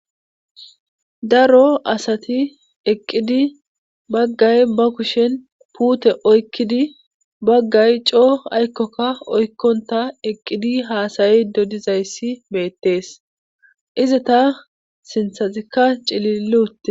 daro asati eqqidi baggay ba kushen puute oykkidi baggay coo aykkokka oykkonta eqqidi haasayi dodizayssi meettees iza ta sinthazikka cililluutte